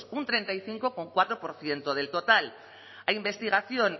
un treinta y cinco coma cuatro por ciento del total a investigación